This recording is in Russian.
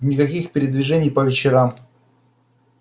никаких передвижений по вечерам